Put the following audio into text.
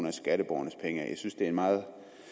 af skatteborgernes penge af jeg synes det er en meget